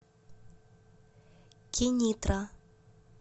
кенитра